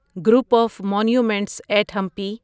group of monuments at Hampi